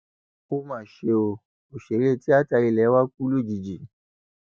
ó mà ṣe o òṣèré tíáta ilé wa kù lójijì